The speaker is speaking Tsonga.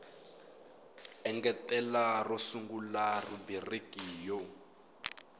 engetela ro sungula rhubiriki yo